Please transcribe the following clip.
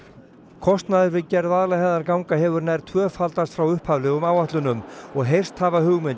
kostnaður við gerð Vaðlaheiðarganga hefur nær tvöfaldast frá upphaflegum áætlunum og heyrst hafa